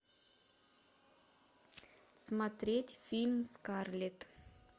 смотреть фильм скарлет